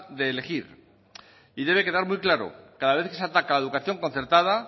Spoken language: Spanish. de elegir y debe quedar muy claro cada vez que se ataca a la educación concertada